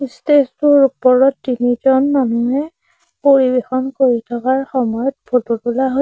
stage টোৰ ওপৰত তিনিজন মানুহে পৰিৱেশন কৰি থকাৰ সময়ত ফটো তোলা হৈ--